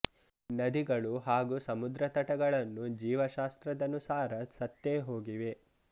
ನದಿಗಳು ಹಾಗೂ ಸಮುದ್ರ ತಟಗಳನ್ನು ಜೀವ ಶಾಸ್ತ್ರದನುಸಾರ ಸತ್ತೇ ಹೋಗಿವೆ